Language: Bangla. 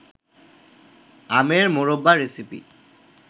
আমের মোরব্বা রেসিপি